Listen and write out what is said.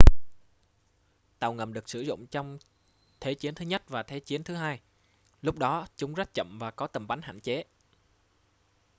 tàu ngầm được sử dụng trong thế chiến thứ nhất và thế chiến thứ hai lúc đó chúng rất chậm và có tầm bắn hạn chế